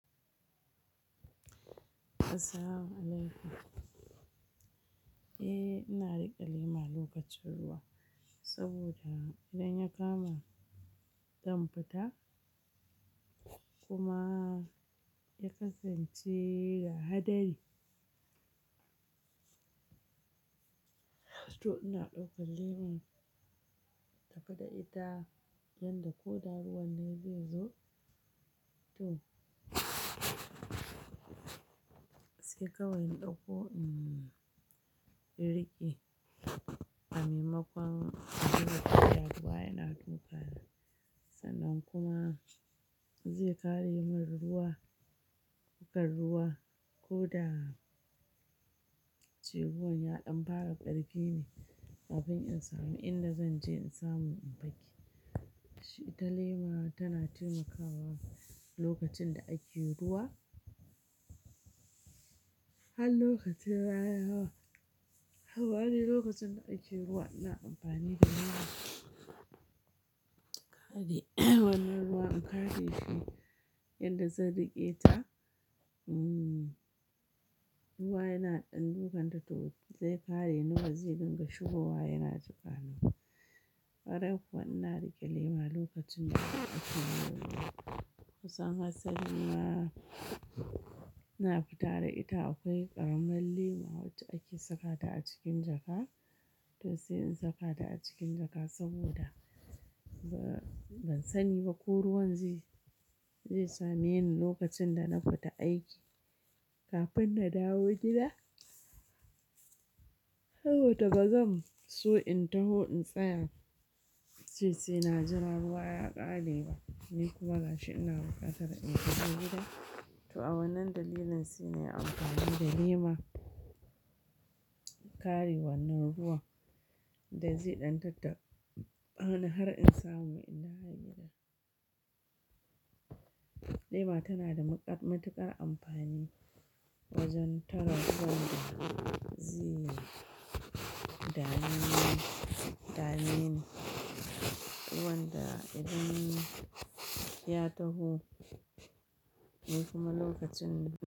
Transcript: Assalamualaikum. Eh, ina riƙe lema lokacin ruwa saboda idan ya kama, zan fita kuma ya kasance da hadari. To ina ɗaukan lema daga da ita, yadda ko da ruwan ne zai zo. To sai kawai in ɗauko, mm, riƙe. Amaimakon zuwa ruwa yana dukana sannan kuma zai ƙare min ruwa, kan ruwa ko da cewa ruwan ya ɗan fara ƙarfi ne, kafin in samu inda zan je in samu in fake. Shi ita lema tana taimakawa lokacin da ake ruwa. Har lokacin rananama, amma dai lokacin da ake ruwa ina amfani da lema ƙare wannan ruwa in ƙare shi yadda zan riƙe ta. Mm, ruwa yana ɗan dukan ta to zai kare ni ba zai dinga shigowa yana jikaniba. Karai kuwa ina riƙe lema lokacin da ake ruwa. Kusan hasalima ina fita da ita. Akwai ƙaramin lema wacce ake saka ta a cikin jaka. To sai in saka ta a cikin jaka saboda ba, ban sani ba ko ruwan zai, zai same ni lokacin da na fita aiki kafin na dawo gida. Sabo da ba zan so in taho in tsaya, ince sai na jira ruwa ya ƙare ba. Ni kuma gashi ina bukatar in taho gida. To a wannan dalilin sai nai amfani da lema, ƙare wannan ruwan da zai ɗan tattaɓani, hana har in samu in dawo gida. Lema tana da maƙar, matuƙar amfani wajen tara ruwan da zai. Dame, dameni. Ruwan da idan ya taho, ni kuma lokacin.